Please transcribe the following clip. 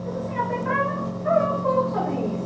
Mas assim, até para falar um pouco sobre isso.